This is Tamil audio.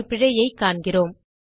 ஒரு பிழையைக் காண்கிறோம்